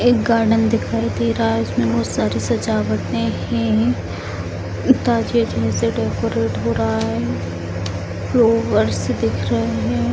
एक गार्डन दिखाई दे रहा है इसमें बहुत सारे सजावटे है में से डेकोरेट हो रहा है फ्लोवर्स दिख रहे हैं।